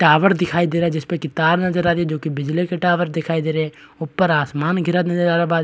tower दिखाई दे रहा है जिस पे की तार नजर आ रही है जो की बिजली की टावर दिखाई दे रही है ऊपर आसमान गिरा नजर आ रहा ब --